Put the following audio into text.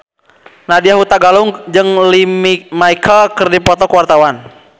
Nadya Hutagalung jeung Lea Michele keur dipoto ku wartawan